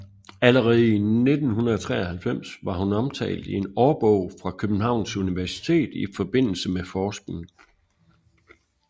Allerede i 1993 var hun omtalt i en årbog fra Københavns Universitet i forbindelse med forskning